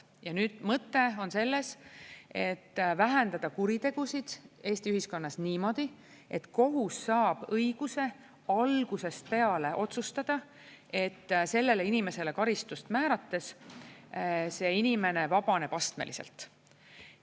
Ja mõte on selles, et vähendada kuritegusid Eesti ühiskonnas niimoodi, et kohus saab õiguse algusest peale otsustada, et sellele inimesele karistust määrates see inimene vabaneb astmeliselt.